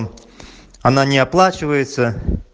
м она не оплачивается